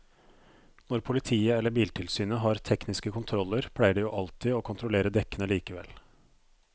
Når politiet eller biltilsynet har tekniske kontroller pleier de jo alltid å kontrollere dekkene likevel.